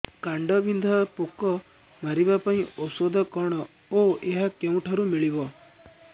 କାଣ୍ଡବିନ୍ଧା ପୋକ ମାରିବା ପାଇଁ ଔଷଧ କଣ ଓ ଏହା କେଉଁଠାରୁ ମିଳିବ